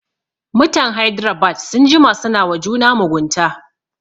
Mutan Hydrabad sun jima suna wa juna mugunta